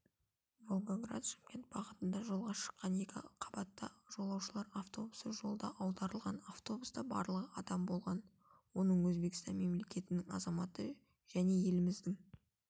волгоград шымкент бағытында жолға шыққан екі қабатты жолаушылар автобусы жолда аударылған автобуста барлығы адам болған оның өзбекістан мемлекетінің азаматы және еліміздің